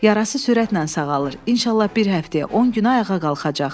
Yarası sürətlə sağalır, inşallah bir həftəyə, 10 günə ayağa qalxacaq.